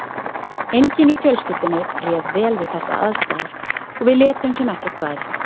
Enginn í fjölskyldunni réð vel við þessar aðstæður og við létum sem ekkert væri.